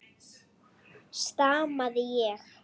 stamaði ég.